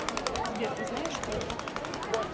сбер ты знаешь что это